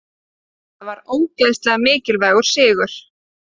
Þetta var ógeðslega mikilvægur sigur.